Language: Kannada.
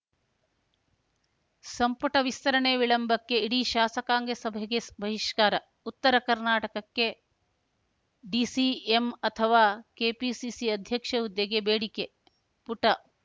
ಸಂಪುಟ ವಿಸ್ತರಣೆ ವಿಳಂಬಕ್ಕೆ ಇಡಿ ಶಾಸಕಾಂಗ ಸಭೆಗೆ ಬಹಿಷ್ಕಾರ ಉತ್ತರ ಕರ್ನಾಟಕಕ್ಕೆ ಡಿಸಿಎಂ ಅಥವಾ ಕೆಪಿಸಿಸಿ ಅಧ್ಯಕ್ಷ ಹುದ್ದೆಗೆ ಬೇಡಿಕೆ ಪುಟ